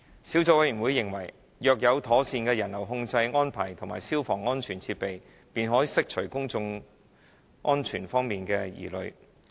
小組委員會認為，若有妥善的人流控制安排和消防安全設施，便可釋除有關公眾安全方面的疑慮。